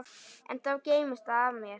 Enn þá geymist það mér.